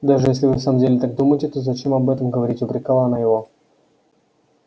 даже если вы в самом деле так думаете то зачем об этом говорить упрекала она его